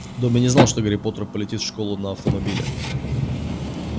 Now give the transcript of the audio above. добби не знал что гарри поттер полетит в школу на автомобиле